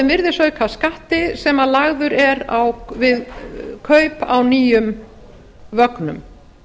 virðisaukaskatti sem lagður er á við kaup á nýjum vögnum